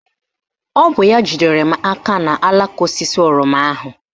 Ọ bụ ya jidere m aka n'alaka osisi oroma ahụ